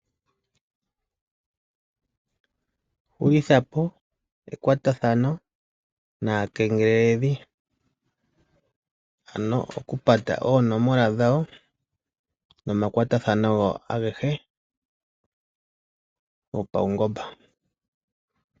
Hulitha po ekwatathano naakengeleledhi, ano okupata oonomola dhawo, nomakwatathano gawo agehe gopaungomba.